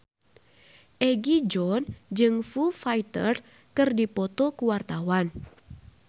Egi John jeung Foo Fighter keur dipoto ku wartawan